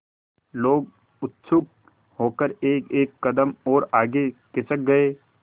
लोग उत्सुक होकर एकएक कदम और आगे खिसक गए